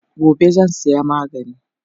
Gobe zan saya magani